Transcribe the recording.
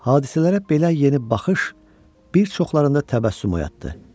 Hadisələrə belə yeni baxış bir çoxlarında təbəssüm oyatdı.